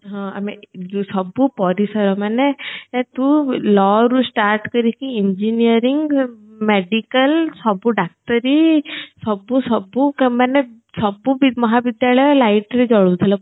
ହଁ ଆମେ ଏ ସବୁ ପରିସୟ ମାନେ ତୁ law ରୁ start କରିକି engineering, medical ସବୁ ଡାକ୍ତରୀ ସବୁ ସବୁ କ୍ ମାନେ ସବୁ ବିଦ୍ ମହା ବିଦ୍ୟାଳୟ light ରେ ଜଲୁ ଥିଲା